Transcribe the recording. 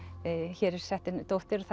hér er sett niður dóttir og